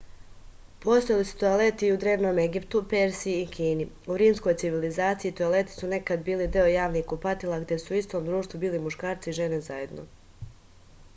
postojali su toaleti i u drevnom egiptu persiji i kini u rimskoj civilizaciji toaleti su nekad bili deo javnih kupatila gde su u istom društvu bili muškarci i žene zajedno